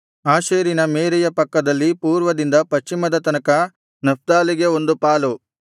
ಆಶೇರಿನ ಮೇರೆಯ ಪಕ್ಕದಲ್ಲಿ ಪೂರ್ವದಿಂದ ಪಶ್ಚಿಮದ ತನಕ ನಫ್ತಾಲಿಗೆ ಒಂದು ಪಾಲು